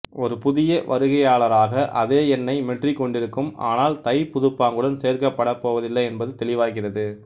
ஒரு புதிய வருகையாளராக அதே எண்ணை மெட்ரிக் கொண்டிருக்கும் ஆனால் தைப் புதுப்பாங்குடன் சேர்க்கப்படப் போவதில்லை என்பது தெளிவாகிறது